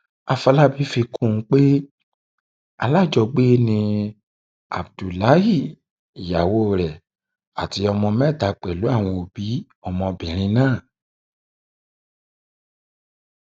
àfọlábí fi um kún un pé alájọgbé ni abdullahi ìyàwó rẹ àti ọmọ mẹta pẹlú àwọn òbí um ọmọbìnrin náà